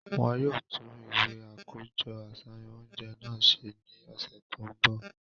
Wọn yóò tun iwe akojọ aṣayan ounjẹ náà se ni ọsẹ to nbo.